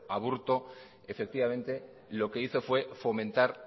aburto efectivamente lo que hizo fue fomentar